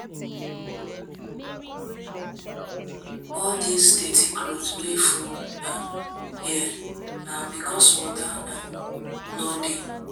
All dis dirty cloth wey full here na because water no dey.